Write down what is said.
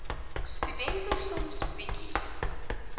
studente soms bietjie